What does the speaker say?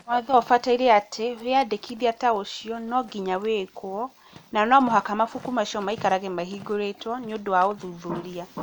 Watho ũbataire atĩ wĩandĩkithia ta ũcio nonginya wĩkwo, na no mũhaka mabuku macio maikarage mahingũrĩtwo nĩũndo wa ũthuthuria.